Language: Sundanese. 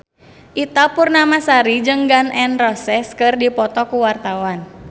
Ita Purnamasari jeung Gun N Roses keur dipoto ku wartawan